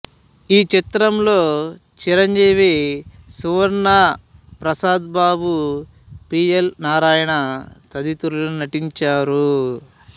ఈ చిత్రంలో చిరంజీవి సువర్ణ ప్రసాద్ బాబు పిఎల్ నారాయణ తదితరులు నటించారు